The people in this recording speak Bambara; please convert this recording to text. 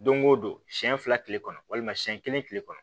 Don o don siɲɛ fila tile kɔnɔ walima siyɛn kelen tile kɔnɔ